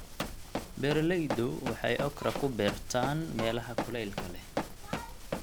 Beeraleydu waxay okra ku beertaan meelaha kuleylka leh.